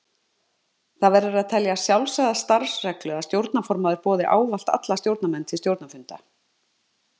Það verður að telja sjálfsagða starfsreglu að stjórnarformaður boði ávallt alla stjórnarmenn til stjórnarfunda.